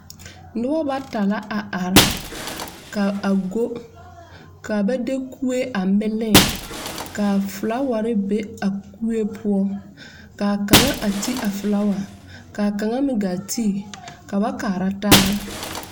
nobo bata la a are. Kaa are go. Ka ba de kueɛ a miliŋ. Ka fulaware be a kue poʊ. Kaa kanga a te a fulawa. Ka kanga meŋ gaa te ka ba kaara taar.